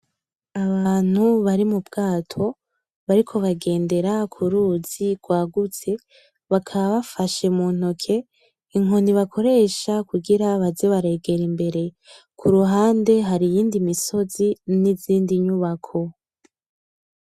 Abantu bari mu bwato, bariko bagendera ku ruzi rwagutse, bakaba bafashe mu ntoke inkoni bakoresha kugira baze baregera imbere. Ku ruhande hari iyindi misozi n'izindi nyubako.